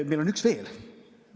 Meil on üks veel.